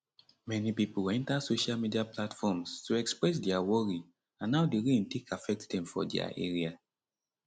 many pipo enta social media platforms to express dia worry and how di rain take affect dem for dia area